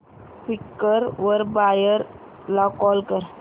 Quikr वर buyer ला call कर